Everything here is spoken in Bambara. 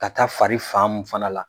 Ka taa fari fan mun fana la